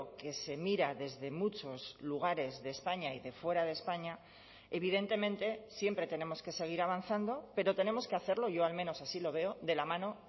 que se mira desde muchos lugares de españa y de fuera de españa evidentemente siempre tenemos que seguir avanzando pero tenemos que hacerlo yo al menos así lo veo de la mano